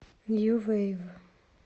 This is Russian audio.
нью вейв